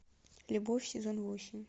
любовь сезон восемь